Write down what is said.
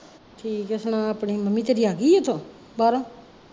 ਠੀਕ ਐ ਸੁਣਾ ਆਪਣੀ, ਮੰਮੀ ਤੇਰੀ ਆਗੀ ਐ ਉੱਥੋਂ, ਬਾਹਰੋਂ